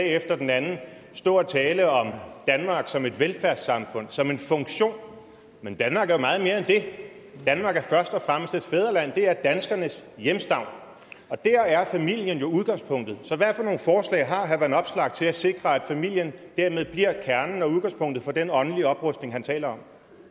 efter den anden stå og tale om danmark som et velfærdssamfund som en funktion men danmark er jo meget mere end det danmark er først og fremmest et fædreland det er danskernes hjemstavn og der er familien jo udgangspunktet så hvad for nogle forslag har herre alex vanopslagh til at sikre at familien dermed bliver kernen og udgangspunktet for den åndelige oprustning han taler